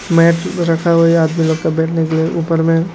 Mat रखा हुआ है ये आदमी लोग को बैठने के लिए ऊपर में।